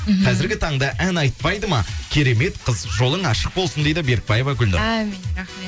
мхм қазіргі таңда ән айтпайды ма керемет қыз жолың ашық болсын дейді берікбаева гүлнұр әмин рахмет